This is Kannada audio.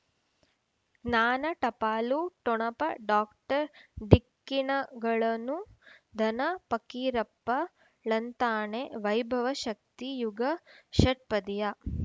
ಜ್ಞಾನ ಟಪಾಲು ಠೊಣಪ ಡಾಕ್ಟರ್ ಢಿಕ್ಕಿ ಣಗಳನು ಧನ ಫಕೀರಪ್ಪ ಳಂತಾನೆ ವೈಭವ ಶಕ್ತಿ ಯುಗಾ ಷಟ್ಪದಿಯ